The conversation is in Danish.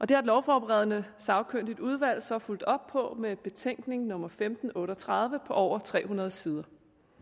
det har et lovforberedende sagkyndigt udvalg så fulgt op på med betænkning nummer femten otte og tredive på over tre hundrede sider